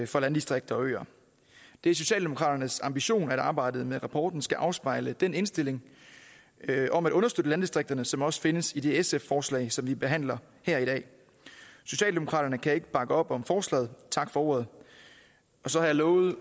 for landdistrikter og øer det er socialdemokraternes ambition at arbejdet med rapporten skal afspejle den indstilling om at understøtte landdistrikterne som også findes i det sf forslag som vi behandler her i dag socialdemokraterne kan ikke bakke op om forslaget tak for ordet og så har jeg lovet